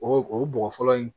O o bɔgɔ fɔlɔ in